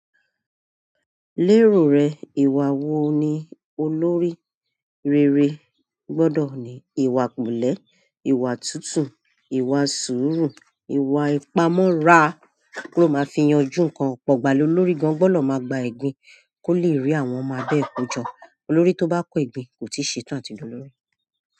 Lérò rẹ, ìwà wo ni olórí rere gbọ́dọ̀ ní? Ìwà pelẹ̀, ìwà tútù, ìwà sùúrù, ìwà ìpamọ́ra ló máa fi yanjú nǹkan. Ọ̀pọ̀ ìgbà ni olórí gan-an gbọ́dọ̀ máa gba egbín kó lè rí àwọn ọmọ ẹ bẹ́ẹ̀ kójọ. Olórí tó bá kọ́ egbín kò tíì ṣe tán àti d'olórí.